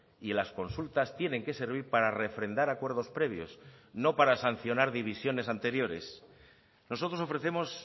y las consultas tienen que servir para refrendar acuerdos previos no para sancionar divisiones anteriores nosotros ofrecemos